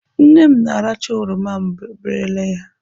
Nne m na-aracha oroma m berele ya.